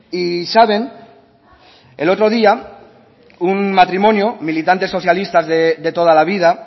y saben el otro día un matrimonio militantes socialistas de toda la vida